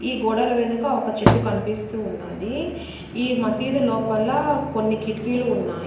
ఈ గోడల వెనుక ఒక చెట్టు కన్పిస్తూ ఉన్నది ఈ మసీదు లోపల కొన్ని కిటికీలు ఉన్నాయ్.